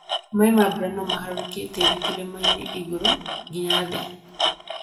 Maĩ ma mbura nomaharũrũkie tĩri kĩrĩmainĩ igũrũ nginya thĩ,